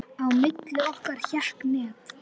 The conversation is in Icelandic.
Á milli okkar hékk net.